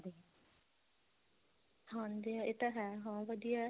ਹਾਂਜੀ ਇਹ ਤਾਂ ਹੈ ਹਾਂ ਵਧਿਆ